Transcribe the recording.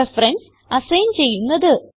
references assign ചെയ്യുന്നത്